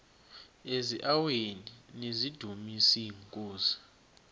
eziaweni nizidumis iinkosi